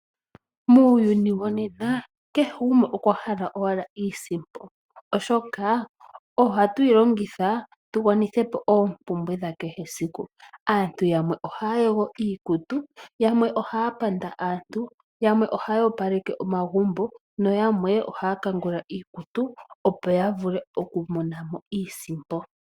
Muuyuni wonena kehe gumwe okwa hala owala iisimpo, oshoka ohatu yi longitha tu gwanithe po oompumbwe dha kehe siku. Aantu ohaya yogo iikutu, yamwe ohaya panda aantu, yamwe ohaya kangula iikutu nayamwe ohaya opaleke omagumbo, opo ya vule okumona mo iisimpo.